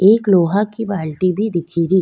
एक लोहा की बाल्टी भी दिख री।